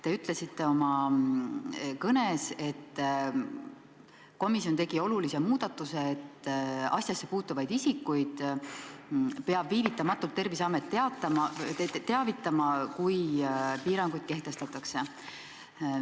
Te ütlesite oma kõnes, et komisjon tegi olulise muudatuse: asjasse puutuvaid isikuid peab Terviseamet viivitamatult teavitama, kui piirangud kehtestatakse.